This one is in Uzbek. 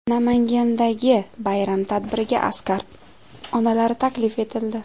Namangandagi bayram tadbiriga askar onalari taklif etildi.